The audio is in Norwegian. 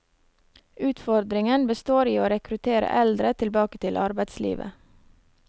Utfordringen består i å rekruttere eldre tilbake til arbeidslivet.